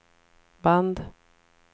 band